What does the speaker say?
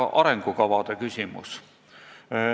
Arengukavade küsimus.